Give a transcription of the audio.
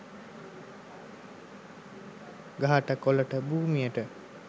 ගහට කොළට භූමියට